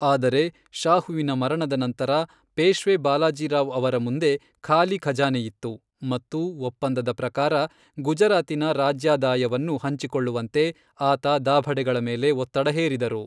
ಆದರೆ, ಶಾಹುವಿನ ಮರಣದ ನಂತರ ಪೇಶ್ವೆ ಬಾಲಾಜಿ ರಾವ್ ಅವರ ಮುಂದೆ ಖಾಲಿ ಖಜಾನೆಯಿತ್ತು ಮತ್ತು ಒಪ್ಪಂದದ ಪ್ರಕಾರ ಗುಜರಾತಿನ ರಾಜ್ಯಾದಾಯವನ್ನು ಹಂಚಿಕೊಳ್ಳುವಂತೆ ಆತ ದಾಭಡೆಗಳ ಮೇಲೆ ಒತ್ತಡ ಹೇರಿದರು.